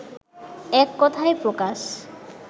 এক কথায় প্রকাশ